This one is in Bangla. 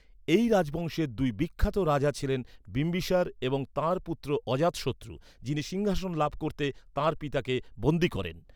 এই রাজবংশের দুই বিখ্যাত রাজা ছিলেন বিম্বিসার এবং তাঁর পুত্র অজাতশত্রু, যিনি সিংহাসন লাভ করতে তাঁর পিতাকে বন্দি করেন।